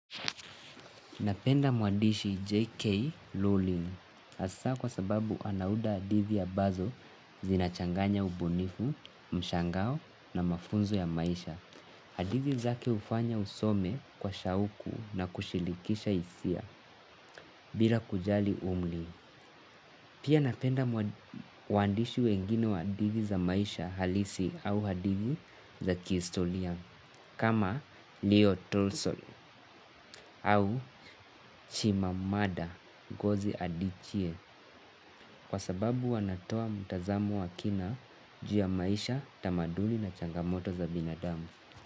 Napenda muandishi J.K. Lulin asa kwa sababu anaunda hadithi ambazo zinachanganya ubunifu, mshangao na mafunzo ya maisha. Hadithi zake ufanya usome kwa shauku na kushilikisha hisia bila kujali umri. Pia napenda wandishi wengine wa hadithi za maisha halisi au hadithi za kistoria kama Leo Tulso au Chimamada Gozi Adichie kwa sababu wanatoa mtazamo wa kina juu ya maisha tamaduni na changamoto za binadamu.